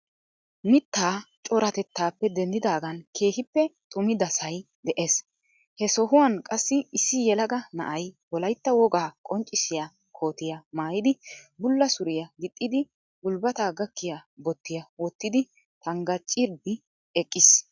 Mittaa coratettappe denddidagan keehippe xuummidasahi de'ees. He sohuwaan qaasi issi yeelaga na'ayi wolayita wogaa qonccissiya kootiya maayidi bulla suuriyaa giixidi guulibata gaakiya boottiya woottidi tanggaracidi eqiis.